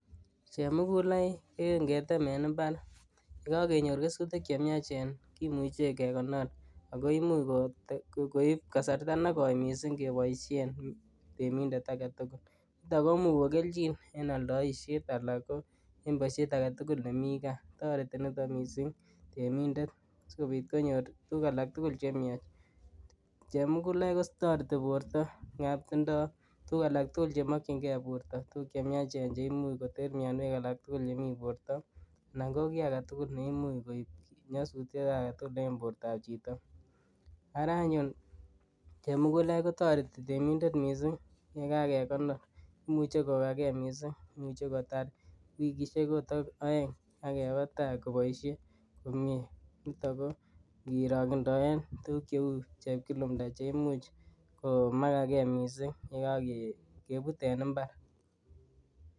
Chemugulaik eng imbaar ak kenyor kesutik chemiachen imuche kekonor ako imuche koip kasarta nekoi mising kopoishen temindet age tugul. Ako much kokelchin eng aldaisiet anan en ko boisiet age tugul nemi gaa. Toreti nito mising temindet sikopit konyor tuguk tugul chemiach. Chemugulaik kotoreti borto ingap tindoi tuguk age tugul chemokchinkei borto, tuguk chemiachen cheimuch koter mianwek alak tugul chemi borto anan kiit age tugul ne imuch koip nyasutiet agetugul eng bortoab chito, ara anyuun chemugulaik kotoreti temindet mising yekakenor, imuchei kokakee mising, imuch kotar wikisiek akot aeng akebe tai kopoishe komnye. Nito ko ngerondoen tuguk cheu kiplumnda che imuch koma ikakee mising yekakeput eng imbaar.